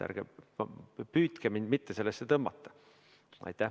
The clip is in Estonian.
Ärge püüdke mind sellesse tõmmata.